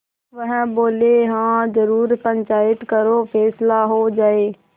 वह बोलेहाँ जरूर पंचायत करो फैसला हो जाय